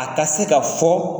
A ka se ka fɔ,